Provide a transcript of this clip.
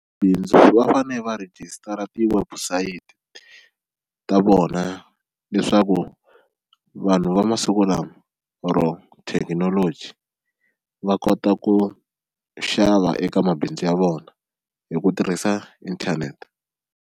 Bindzu va fane va rejistara tiwebusayiti ta vona leswaku vanhu va masiku lama or thekinoloji va kota ku xava eka mabindzu ya vona hi ku tirhisa inthanete.